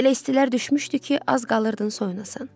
Elə istilər düşmüşdü ki, az qalırdın soyunasan.